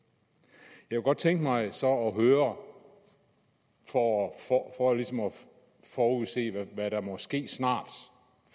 jeg kunne godt tænke mig så at høre for ligesom at forudse hvad der måske snart